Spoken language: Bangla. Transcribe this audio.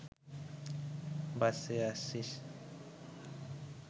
বাঁইচে আছিস্